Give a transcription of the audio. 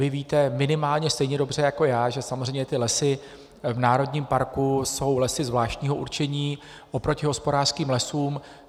Vy víte minimálně stejně dobře jako já, že samozřejmě ty lesy v národním parku jsou lesy zvláštního určení oproti hospodářským lesům.